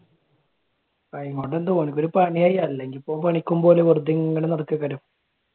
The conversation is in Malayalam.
ഓന്ക് ഒരു പണിയായി അല്ലെങ്കിൽ ഇപ്പൊ പണിക്കും പോവൂല വെറുതെ ഇങ്ങനെ നടക്കണ്ണേയിരിക്കും.